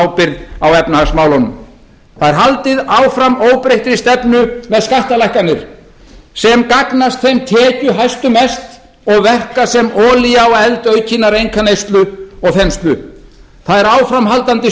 ábyrgð á efnahagsmálunum það er haldið áfram óbreyttri stefnu með skattalækkanir sem gagnast þeim tekjuhæstu mest og verka sem olía á eld aukinnar einkaneyslu og þenslu það